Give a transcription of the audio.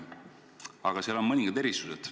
Aga seal on mõningad erisused.